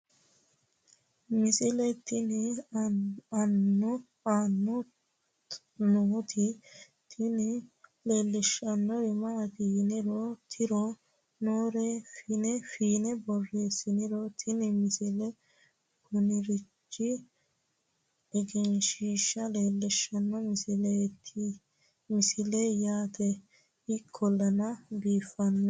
misile tenne aana nooti tini leellishshannori maati yine tirre noore fiine borreessiniro tini misile kunirichi egenshshiisha leellishshanno misileeyi yaate ikkollana biifanno